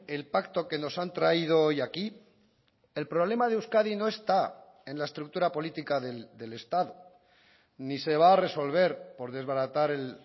el pacto que nos han traído hoy aquí el problema de euskadi no está en la estructura política del estado ni se va a resolver por desbaratar el